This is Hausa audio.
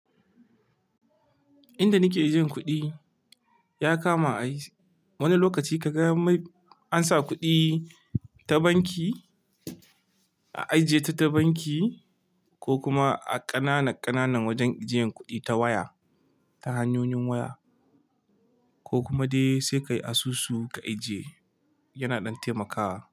Inda nike jin kuɗi ya kama a yi, wani lokaci kaga an sa kuɗi ta banki, a ajiye ta ta banki ko kuma a ƙananan ƙananan wajen ajiyan kuɗi ta waya, ta hanyoyin waya ko kuma dai sai ka yi asusu ka ajiye yana ɗan taimakawa.